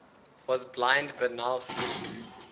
was blind but now see